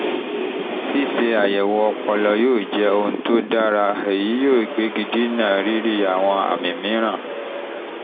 ṣíṣe àyẹ̀wò ọpọlọ yóò jẹ́ ohun tó dára èyí yóò gbégi dínà rírí àwọn àmì mìíràn